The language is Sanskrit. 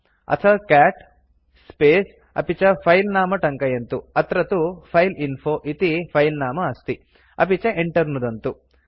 अथ कैट् स्पेस् अपि च फिले नाम टङ्कयन्तु अत्र तु फाइलइन्फो इति फिले नाम अस्ति अपि च enter नुदन्तु